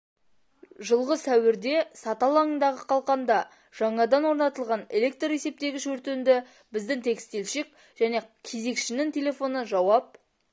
жылғы сәуірде саты алаңындағы қалқанда жаңадан орнатылған электр есептегіш өртенді біздің текстильщик және кезекшінің телефоны жауап